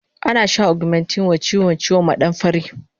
Ana shan augmentin wa chiwon ciwon maɗamfari